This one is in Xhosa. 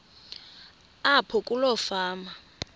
apho kuloo fama